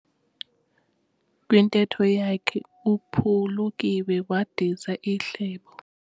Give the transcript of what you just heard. Kwintetho yakhe uphulukiwe wadiza ihlebo.